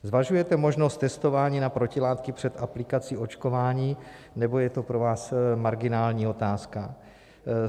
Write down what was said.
Zvažujete možnost testování na protilátky před aplikací očkování, nebo je to pro vás marginální otázka?